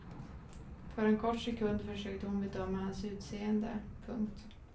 För en kort sekund försökte hon bedöma hans utseende. punkt